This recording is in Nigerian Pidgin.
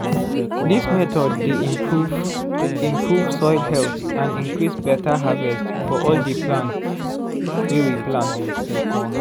this method dey improve improve soil health and increase better harverst for all the palnt wy we plant